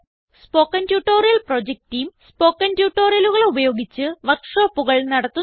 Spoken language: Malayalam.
spoken tutorial project team spoken ട്യൂട്ടോറിയലുകൾ ഉപയോഗിച്ച് വർക്ക് ഷോപ്പുകൾ നടത്തുന്നു